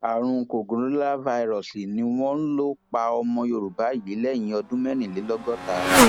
àrùn kòǹgóláfàírọọsì ni wọn lọ pa ọmọ yorùbá yìí lẹni ọdún mẹrìnlélọgọta